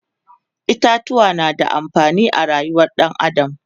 itatuwa na da amfani a rayuwar ɗan adam